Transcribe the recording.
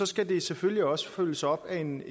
skal det selvfølgelig også følges op af en